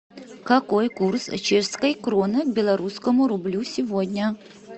какой курс чешской кроны к белорусскому рублю сегодня